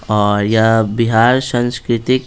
और यह बिहार सांस्कृतिक--